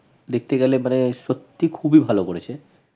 দেখতে গেলে মানে সত্যি খুবই ভাল করেছে।